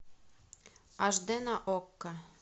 аш дэ на окко